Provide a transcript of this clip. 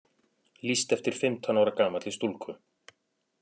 Lýst eftir fimmtán ára gamalli stúlku